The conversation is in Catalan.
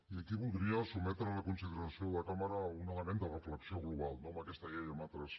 i aquí voldria sotmetre a la consideració de la cambra un element de reflexió global no amb aquesta llei i amb altres